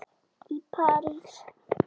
í París.